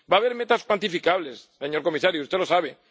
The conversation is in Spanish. Va a haber metas cuantificables, señor comisario. Usted lo